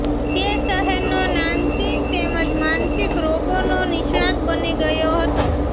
તે શહેર નો નામચીન તેમજ માનસિક રોગો નો નિષ્ણાત બની ગયો હતો